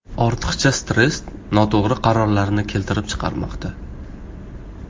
Ortiqcha stress noto‘g‘ri qarorlarni keltirib chiqarmoqda.